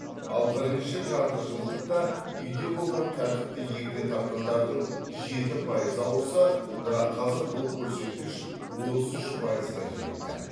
ал бірінші жартыжылдықта үйде болған тәртіпті егде тартқандардың жеті пайызы ауырса бірақ қазір бұл көрсеткіш отыз үш пайызға жетті